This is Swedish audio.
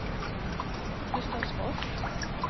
Gustavsfors